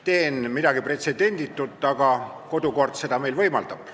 Teen midagi pretsedenditut, aga kodukord seda võimaldab.